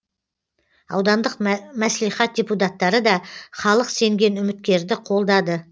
аудандық мәслихат депутаттары да халық сенген үміткерді қолдады